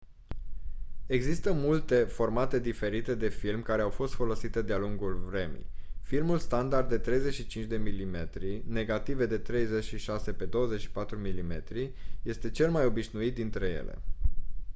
există multe formate diferite de film care au fost folosite de-a lungul vremii. filmul standard de 35 mm negative de 36 pe 24 mm este cel mai obișnuit dintre ele